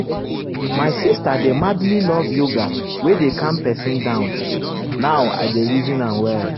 my sister dey madly love yoga wey dey calm person down now i dey reason am well.